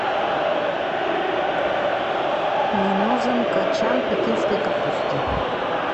мне нужен кочан пекинской капусты